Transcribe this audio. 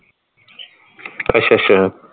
ਅੱਛਾ ਅੱਛਾ